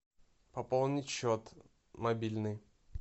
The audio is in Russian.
пополнить счет мобильный